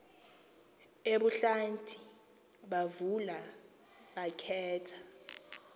ebuhlanti bavula bakhetha